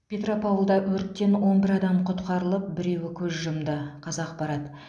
петропавлда өрттен он бір адам құтқарылып біреуі көз жұмды қазақпарат